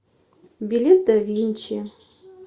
билет да винчи